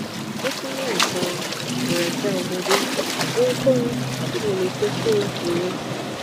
ó tún ní àìsàn ìrẹkẹ ọmọdé ohunkóhun tí mo lè ṣe fún un nìyẹn